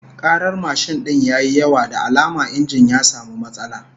Karar mashin din ya yi yawa, da alama injin ya samu matsala